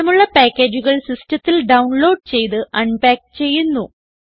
ആവശ്യമുള്ള പാക്കേജുകൾ സിസ്റ്റത്തിൽ ഡൌൺലോഡ് ചെയ്ത് അൻപാക്ക് ചെയ്യുന്നു